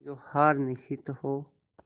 जो हार निश्चित हो